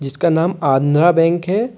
इसका नाम आंद्रा बैंक है।